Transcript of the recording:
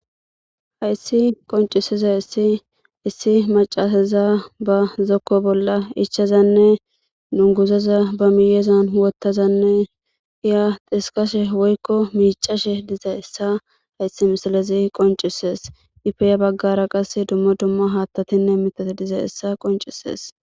Hayssi qoncisizayssi issi macca asaza ba zokko bolla ichchadanne dunguzaza ba miyezan wottadanne hiya dhiskashe woykko miccashe dizayssa hayssi misilezi qoncises; ippe ya baggara qasse dumma dumma haattatinne mittati dizayssa qoncises.